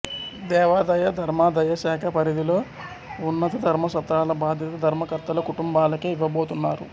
దేవాదాయ ధర్మాదాయ శాఖ పరిధిలోఉన్నధర్మసత్రాల బాధ్యత ధర్మకర్తల కుటుంబాలకే ఇవ్వబోతున్నారు